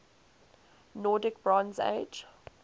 nordic bronze age